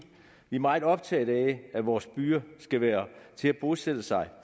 vi er meget optaget af at vores byer skal være til at bosætte sig